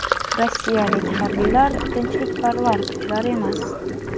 rossiyalik harbiylar tinchlikparvar kuchlar emas.